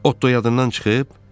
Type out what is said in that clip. Otdu yadından çıxıb?